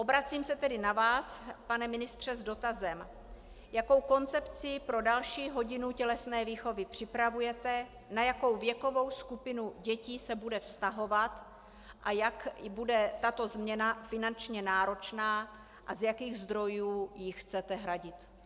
Obracím se tedy na vás, pane ministře, s dotazem: Jakou koncepci pro další hodinu tělesné výchovy připravujete, na jakou věkovou skupinu dětí se bude vztahovat a jak bude tato změna finančně náročná a z jakých zdrojů ji chcete hradit?